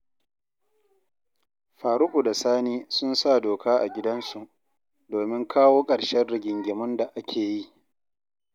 Faruku da Sani sun sa doka a gidansu, domin kawo ƙarshen rigingimun da ake yi